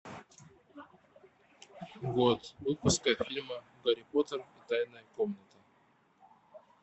год выпуска фильма гарри поттер и тайная комната